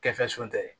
Kɛfɛsun tɛ